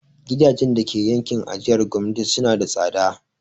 Gidajen dake yankin ajiyar gwamnati suna da tsada.